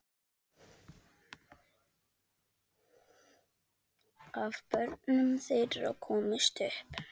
Af börnum þeirra komust upp